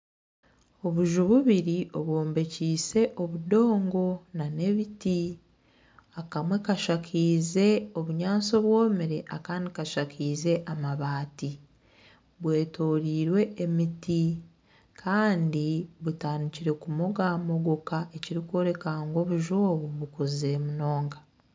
Obuju bubiri obwombekiise obudongo nana ebiti akamwe kashakaize obunyatsi obwomire Kandi kashakaize amabaati bwetorairwe emiti Kandi butandikire kumogamogoka ekirikworeka ngu obuju obu bikuzire munonga